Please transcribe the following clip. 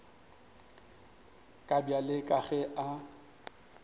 ka bjale ka ge a